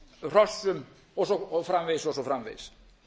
hrossum og svo framvegis og svo framvegis